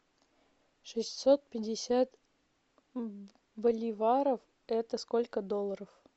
шестьсот пятьдесят боливаров это сколько долларов